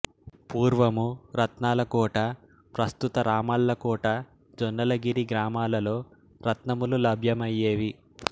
పూర్వము రత్నాలకోట ప్రస్తుత రామళ్ళకోట జొన్నగిరి గ్రామాలలో రత్నములు లభ్యమయ్యేవి